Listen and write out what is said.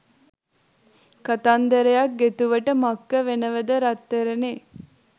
කතන්දරයක් ගෙතුවට මක්ක වෙනවද රත්තරනේ?